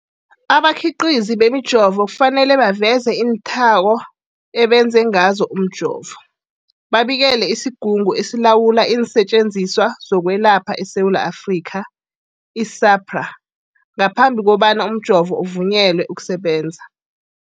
Abakhiqizi bemijovo kufanele baveze iinthako abenze ngazo umjovo, babikele isiGungu esiLawula iinSetjenziswa zokweLapha eSewula Afrika, i-SAHPRA, ngaphambi kobana umjovo uvunyelwe ukusebenza.